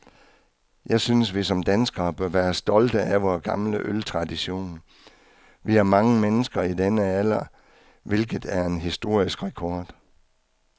Jeg synes, vi som danskere bør være stolte af vor gamle øltradition. Vi har mange mennesker i denne alder, hvilket er en historisk rekord.